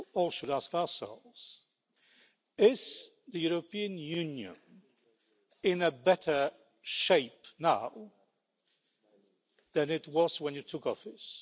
should ask ourselves is is the European Union in a better shape now than it was when you took office?'